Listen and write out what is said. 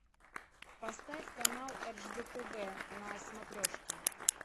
поставь канал ржд тв на смотрешке